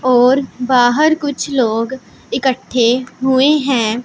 और बाहर कुछ लोग इकट्ठे हुए हैं।